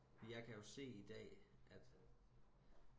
jeg kan jo se i dag at